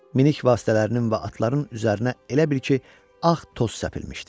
Minik vasitələrinin və atların üzərinə elə bil ki, ağ toz səpilmişdi.